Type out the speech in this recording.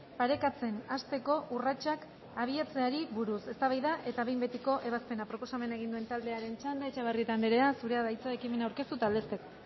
parekatzen hasteko urratsak abiatzeari buruz eztabaida eta behin betiko ebazpena proposamena egin duen taldearen txanda etxebarrieta andrea zurea da hitza ekimena aurkeztu eta aldezteko